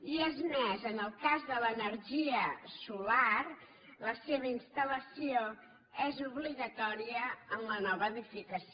i és més en el cas de l’energia solar la seva instal·lació és obligatòria en la nova edificació